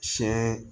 Siɲɛ